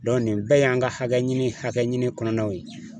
Dɔn nin bɛɛ y'an ka hakɛ ɲini hakɛ ɲini kɔnɔnaw ye